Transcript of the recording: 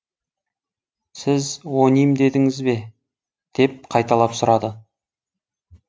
сіз оним дедіңіз бе деп қайталап сұрады